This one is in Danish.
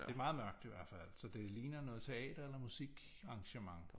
Det er meget mørkt i hvert fald så det ligner noget teater eller musikarrangement